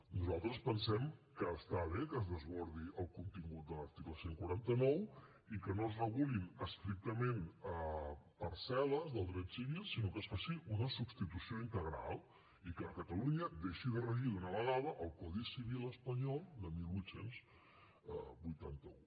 nosaltres pensem que està bé que es desbordi el contingut de l’article cent i quaranta nou i que no es regulin estrictament parcel·les del dret civil sinó que es faci una substitució integral i que a catalunya deixi de regir d’una vegada el codi civil espanyol de divuit vuitanta u